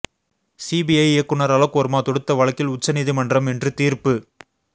CBI இயக்குனர் அலோக் வெர்மா தொடுத்த வழக்கில் உச்ச நீதிமன்றம் இன்று தீர்ப்பு